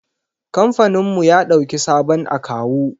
Kamfaninmu ya ɗauki sabon akawu.